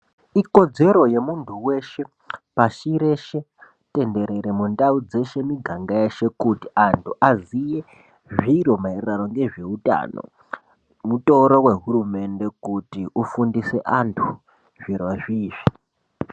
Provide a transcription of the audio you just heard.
Ikodzedzero yemundu weshe pashi reshe tendere mundau dzeshe muganga dzeshe kuti andu aziye zviro maererano ngezveutano mutoro wehurumende kuti ufundise vandu zviri zvizvi